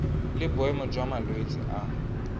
le boemo jwa malwetse a